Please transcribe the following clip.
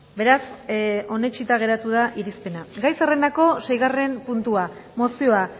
beraz onetsita geratu da irizpena gai zerrendako seigarren puntua mozioa